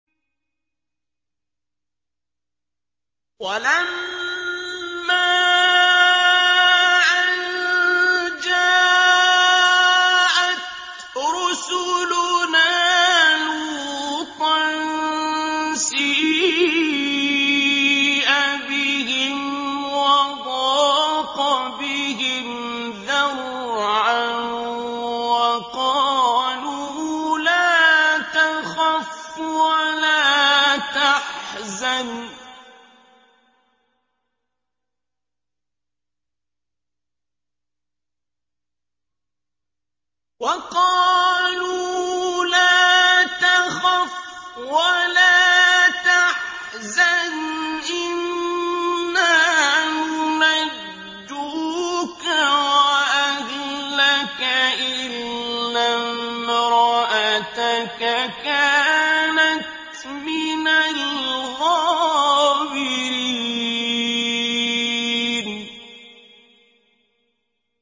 وَلَمَّا أَن جَاءَتْ رُسُلُنَا لُوطًا سِيءَ بِهِمْ وَضَاقَ بِهِمْ ذَرْعًا وَقَالُوا لَا تَخَفْ وَلَا تَحْزَنْ ۖ إِنَّا مُنَجُّوكَ وَأَهْلَكَ إِلَّا امْرَأَتَكَ كَانَتْ مِنَ الْغَابِرِينَ